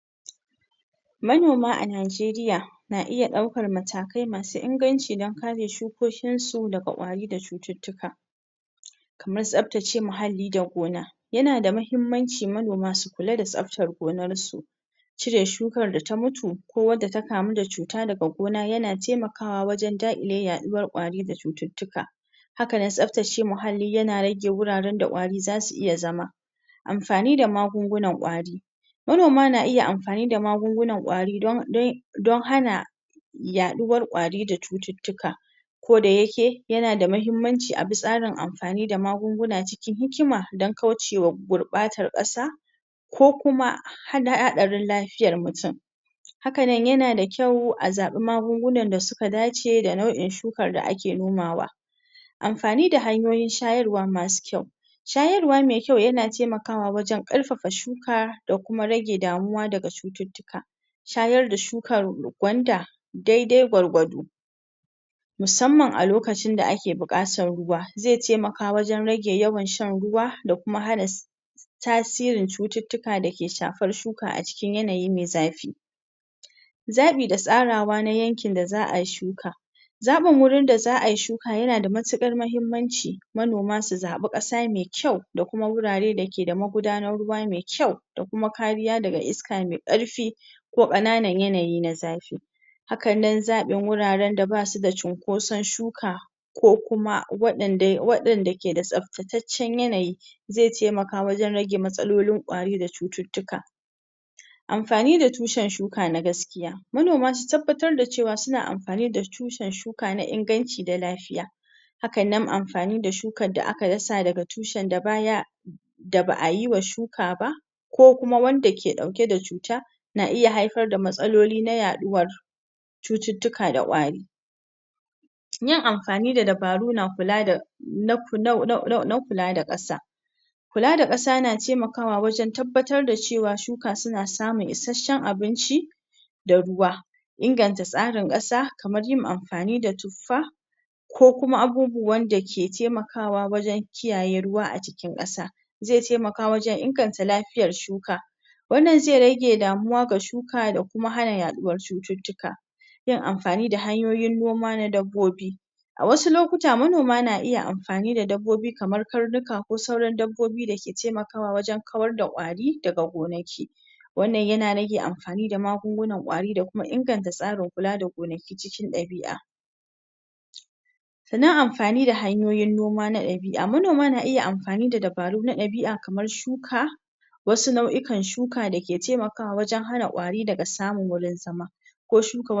in Akwai ƙalubale da haɗari da ke tattare da adana abinci da albarakatun dabbobi. Ga wasu misali Na farko lalacewar abinci idan aka adana abinci a cikin ingantaccen wuri da yanayi ya lalacewa ko yin ƙalubale saboda danshi ko zafi idan aka ajiye shi lokacin zafi ba a dubawa sanadiyyar haka gaskiyar magana yana lalacewa. yana lalacewa wannan na iya lacewa hatsari ko ciyawa za su samu kora ko kuma su fara fure za ka ga alama dai na sinadarin cututtuka ga dabbobi Na biyu akwai da ƙwayoyin cuta idan abinci bai dace da tsare-tsaren adanawa ba zai iya jawo matsaloli kamar ƙwaro ko ƙwayoyin cuta da za su lalata abincin. Wannan na iya zama haɗari ga lafiyar dabbobi musamman idan dabbobin suka ci abincin. da bai dace ba. tsarin abinci ya ƙare ko a rasa isasshe idan ba a kiyaye adana abinci da albarkatun dabbobi ba, akwai yiwuwar cewa dabbobi za su rasa isasshen ciyawa a lokacin da suke buƙata. wannan na iya kawo matsala musamman idan akwai yawan dabbobi ko kuma canje-canje a cikin yanayin muhalli na huɗdun su, matsalar adana ruwa idan ba a adana ruwa cikin tsabta ba ko kuma ba a kiyaye shi daga gurɓata ba zai iya zama barazana ga lafiyar dabbobi ruwa gurɓatacce na iya jawo cututtuka ko rashin lafiya in akai rashin sa'a ma har su mutu. canje-canjen yanayi. Yanayin muhalli kamar damina ko rani na iya shafar adana abinci Idan yanayin zafi mai yawa ko kuma ruwan sama ya na ƙaru, abinci na iya lalacewa. Rashin tsare-tsaren adana. Idan ba a samarda ingantaccen wuraren adanawa ba kamar ɗaukar ajiyar abinci ko kuwararen ajiye ruwa. Yana yiwuwa abincin ko albarkatunsu ya lalace su zama marar sa inganci, wannan na iya rage ingancin abincin dabba. amfani da kayan magunguna sinadari Idan an yi amfani da magungunan kariya ko sinadari da ba su dace ba ko kuma idan ba a kiyaye amfani da su ba yanda ya kamata yana iya zama barazana ga lafiyar dabbobi hakan yana iya kawo matsala idan ba a kiyaye ba. wannan na nunatawa cewa yana da muhimmanci a kula sosai